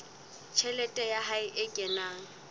tjhelete ya hae e kenang